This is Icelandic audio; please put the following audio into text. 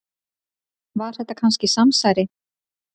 Var þetta kannski samsæri?